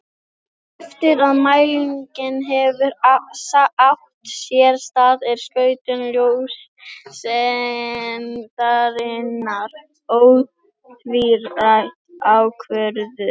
Eftir að mælingin hefur átt sér stað er skautun ljóseindarinnar ótvírætt ákvörðuð.